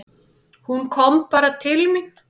Hún kom bara til mín.